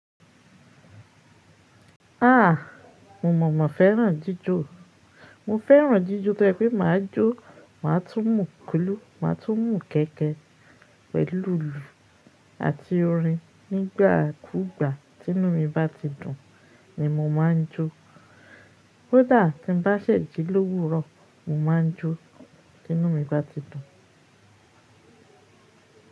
Mo mọ̀ mọ̀ fẹ́ràn jíjó. Mo fẹ́ràn jíjó tó ṣe pé máa jó, màá tún mùù kúlú, màá tún mùù kẹ́kẹ̀ pẹ̀lú ìlù àti orin nígbà kú ìgbà tí inú mi bá ti dùn ni mo máa ń jó. Kodàá tí n bá ṣẹ̀jì lówuro, mo máa ń jó tí inú mi bá ti dùn.